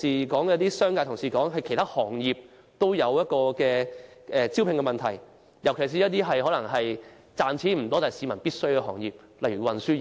部分商界同事也曾經指出，其他行業同樣出現招聘問題，尤其是一些不太賺錢但市民需要的行業，例如運輸業。